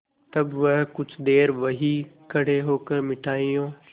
तब वह कुछ देर वहीं खड़े होकर मिठाइयों